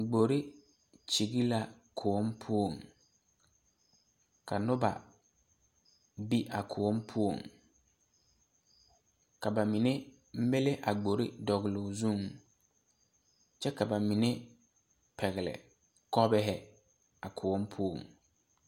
Gbori kyige la koɔ poɔ ka noba be a koɔ poɔŋ ka ba mine milli a gbori dɔle o zu kyɛ ka ba mine pɛgele kɔvaa a koɔ poɔŋ.